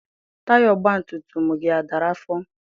Taya ọgbatumtum gị a dara afọ?